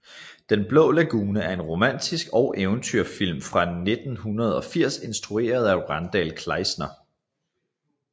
Den Blå Lagune er en romantik og eventyrfilm fra 1980 instrueret af Randal Kleiser